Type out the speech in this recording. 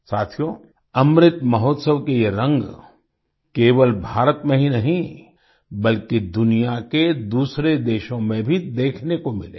साथियो अमृत महोत्सव के ये रंग केवल भारत में ही नहीं बल्कि दुनिया के दूसरे देशों में भी देखने को मिले